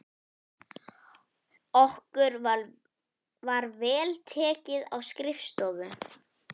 Okkur var vel tekið á skrifstofu